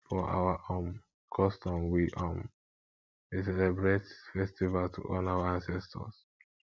for our um custom we um dey celebrate festival to honour our ancestors